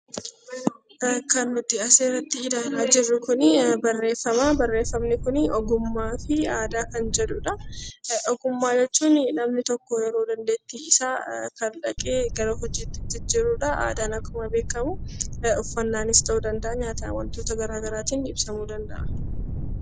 Kan nuti as irratti ilaalaa jirru kuni barreeffama. Barreeffamni kuni 'Ogummaa fi aadaa' kan jedhu dha. Ogummaa jechuun namni tokko dandeettii isaa kalaqee gara hojiitti jijjiiru dha. Aadaan akkuma beekamu uffannaa nis ta'uu danda'aa, nyaataan, wantoota gara garaan ibsamuu danda'a.